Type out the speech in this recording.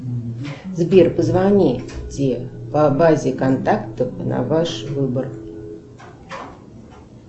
сбер позвоните по базе контактов на ваш выбор